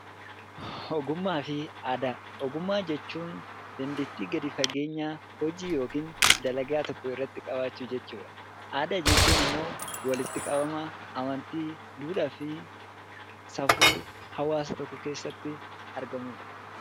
Ogummaa fi aadaa Ogummaa jechuun dandeettii gadi fageenyaa hojii (dalagaa) tokko irratti qabaachuu jechuu dha. Aadaa jechuun immoo walitti qabama amantii, duudhaa fi safuu hawaasa tokko keessatti argamuu dha.